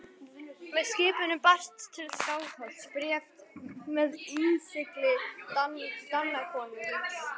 Með skipinu barst til Skálholts bréf með innsigli Danakonungs.